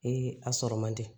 a sɔrɔ man di